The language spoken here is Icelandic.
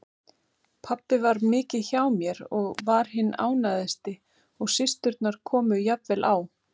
Pabbi var mikið hjá mér og var hinn ánægðasti og systurnar komu jafnvel á